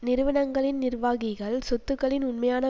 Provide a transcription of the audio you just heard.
நிறுவனங்களின் நிர்வாகிகள் சொத்துக்களின் உண்மையான